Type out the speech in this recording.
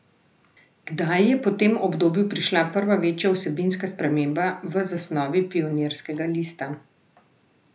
Kdaj je po tem obdobju prišla prva večja vsebinska sprememba v zasnovi Pionirskega lista?